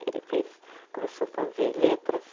Ele fez, começou fazer letras.